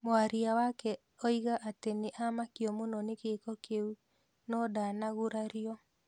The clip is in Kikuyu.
Mwaria wake oiga atĩ nĩ amakio mũno ni giiko kiu, no ndana gurario.